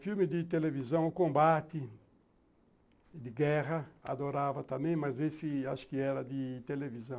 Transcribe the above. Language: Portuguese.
Filme de televisão, O Combate, de guerra, adorava também, mas esse acho que era de televisão.